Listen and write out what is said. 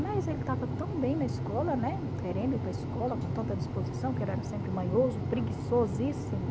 Mas ele estava tão bem na escola, né, querendo ir para a escola, com tanta disposição, que ele era sempre manhoso, preguiçosíssimo.